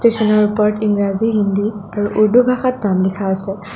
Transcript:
ষ্টেচনৰ ওপৰত ইংৰাজী হিন্দী আৰু উৰ্দু ভাষাত নাম লিখা আছে।